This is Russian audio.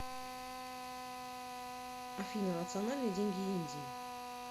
афина национальные деньги индии